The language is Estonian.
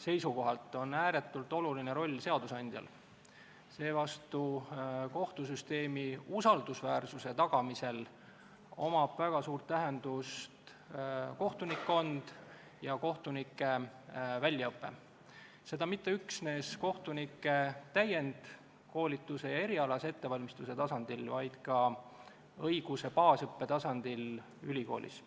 seisukohalt on ääretult oluline roll seadusandjal, seevastu kohtusüsteemi usaldusväärsuse tagamisel omab väga suurt tähendust kohtunikkond ja kohtunike väljaõpe, mitte üksnes kohtunike täienduskoolituse ja erialase ettevalmistuse tasandil, vaid ka õiguse baasõppe tasandil ülikoolis.